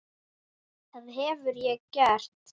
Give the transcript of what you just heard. Það hef ég gert.